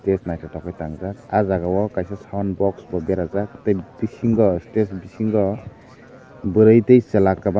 base nythotok ke tang jaak saka o kaisa sound box berajak tai bisingo stage bisingo bwri tai chwla kwbangma.